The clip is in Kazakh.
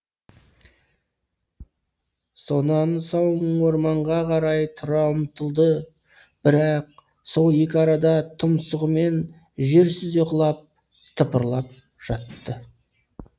сонан соң орманға қарай тұра ұмтылды бірақ сол екі арада тұмсығымен жер сүзе құлап тыпырлап жатты